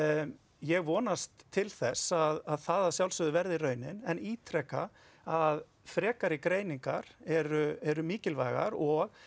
ég vonast til þess að það að sjálfsögðu verði raunin en ítreka að frekari greiningar eru eru mikilvægar og